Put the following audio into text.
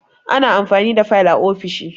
Ana amfani da fayil a ofishi